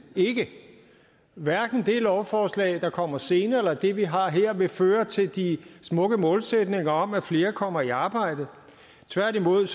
ikke hverken det lovforslag der kommer senere eller det vi har her vil føre til de smukke målsætninger om at flere kommer i arbejde tværtimod